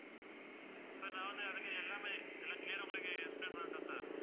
sir நான் வந்து அதுக்கு எல்லாமே எல்லாம் clear ஆ உங்களுக்கு explain பண்ணட்டா sir